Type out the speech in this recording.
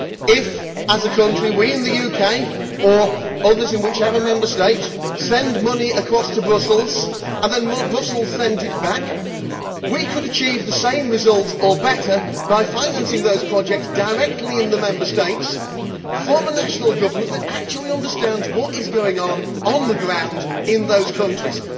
If, as a country, we in the UK or others in whichever Member State send money across to Brussels and then Brussels sends it back, we could achieve the same result or better by financing those projects directly in the Member States from a national government that actually understands what is going on on the ground in those countries.